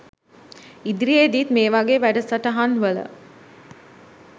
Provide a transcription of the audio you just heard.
ඉදිරියේදිත් මේ වගේ වැඩසටහන් වල